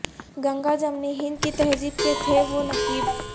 گنگا جمنی ہند کی تہذیب کے تھے وہ نقیب